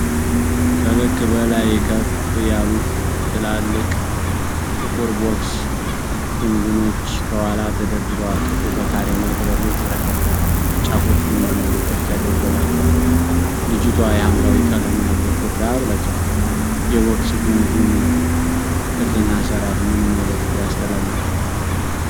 ከልክ በላይ ከፍ ያሉ ትላልቅ ጥቁር ቦክስ ጉንጉኖች ከኋላ ተደርገዋል። ጥፍሩ በካሬ መልክ በግልጽ ተከፋፍሏል፤ ጫፎቹ ቡናማ ዶቃዎች ተደርጎላቸዋል። ልጅቷ የሐምራዊ ቀለም ያለው ሹራብ ለብሳለች። የቦክስ ጉንጉኑ ቅርፅና አሰራር ምን መልዕክት ያስተላልፋል?